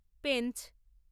Pench.